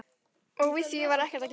Og við því var ekkert að gera.